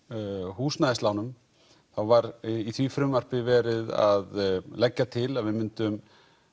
húsnæðislánum þá var í því frumvarpi verið að leggja til að við myndum